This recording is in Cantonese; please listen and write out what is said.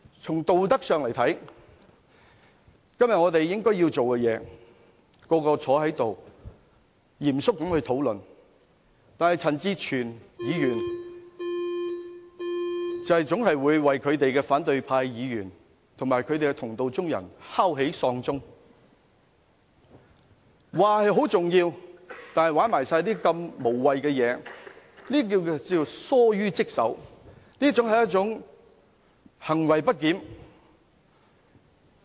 從道德上來看，我們今天應該要做的是，大家坐在議事堂內嚴肅討論，但陳志全議員總會為反對派議員及同道中人敲起喪鐘，說事情很重要，卻玩弄如此無謂的東西，這是疏於職守、行為不檢。